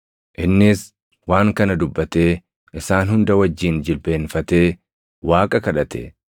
Innis waan kana dubbatee isaan hunda wajjin jilbeenfatee Waaqa kadhate.